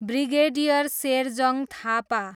brigadier Sherjang Thapa